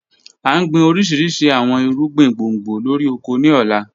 A n gbin orishirishi awọn irugbin gbongbo lori oko ni ọla.